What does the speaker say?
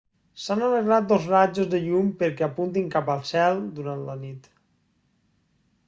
s'han arreglat dos rajos de llum perquè apuntin cap al cel durant la nit